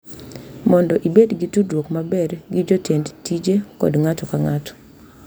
Mondo ibed gi tudruok maber gi jotend tije kod ng’ato ka ng’ato.